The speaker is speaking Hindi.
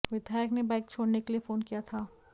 विधायक ने बाइक छोड़ने के लिए फोन किया था